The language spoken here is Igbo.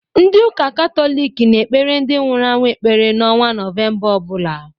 Ndị ụka Katọlik na-ekepre ndi nwụrụ anwụ ekpere n'ọnwa Nọvemba ọbụla